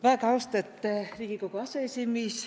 Väega austate Riigikogu aseesimiis!